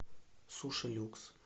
сушилюкс